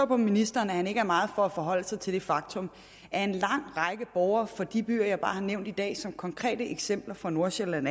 på ministeren at han ikke er meget for at forholde sig til det faktum at er en lang række borgere fra de byer jeg bare har nævnt i dag som konkrete eksempler fra nordsjælland